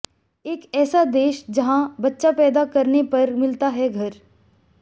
एक ऐसा देश जहां बच्चा पैदा करने पर मिलता हैं घर